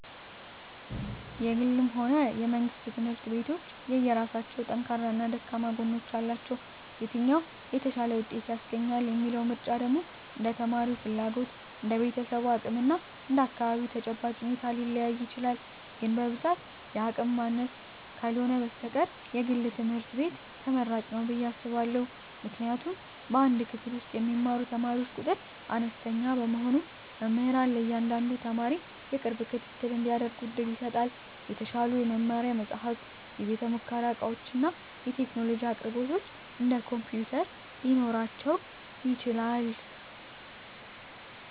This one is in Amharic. የግልም ሆነ የመንግሥት ትምህርት ቤቶች የየራሳቸው ጠንካራና ደካማ ጎኖች አሏቸው። የትኛው "የተሻለ ውጤት" ያስገኛል የሚለው ምርጫ ደግሞ እንደ ተማሪው ፍላጎት፣ እንደ ቤተሰቡ አቅም እና እንደ አካባቢው ተጨባጭ ሁኔታ ሊለያይ ይችላል። ግን በብዛት የአቅም ማነስ ካልህነ በስተቀር የግል ትምህርት ቤት ትመራጭ ንው ብየ አስባእሁ። ምክንያቱም በአንድ ክፍል ውስጥ የሚማሩ ተማሪዎች ቁጥር አነስተኛ በመሆኑ መምህራን ለእያንዳንዱ ተማሪ የቅርብ ክትትል እንዲያደርጉ ዕድል ይሰጣል። የተሻሉ የመማሪያ መጻሕፍት፣ የቤተ-ሙከራ ዕቃዎችና የቴክኖሎጂ አቅርቦቶች (እንደ ኮምፒውተር) ሊኖራቸው ይችላል።